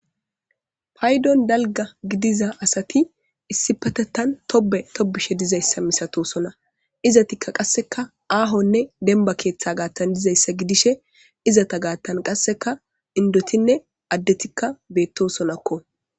Payiddoni daligga giddidda assati issipetethani tobbe tobizayissa malatosona izatika qasse ahonne demibba gidiza ketha gidishini izata gathani qasse indotinene adeti benitisona